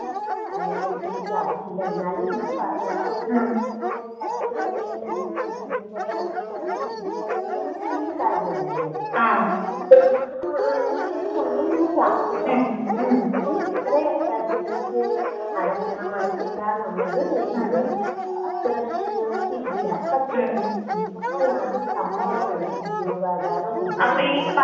അതിനെ കുറിച്ച് എനിക്കറിയില്ല എന്നാലും ഞാൻ പറയാ. ഒരൂ പത്ത് എമ്പതിനായിരം രൂപാ കൊറച്ച് കിട്ടിയാല് നമ്മക്ക് വല്ല്യ കാര്യമായില്ലേ? അങ്ങനെ ഒക്കെ ആയിരിക്കാം ലോണ് ഇത്രേ തിരിച്ച് അടക്കണം അടക്കണ്ടാ എന്നുള്ളത് എനിക്ക് അത്ര ഷുവര്‍റ്റി ഇല്ല പക്ഷേ ഇതൊക്കെയാണ് സംഭവങ്ങള്. ഉദ്യോഗാധാറ്.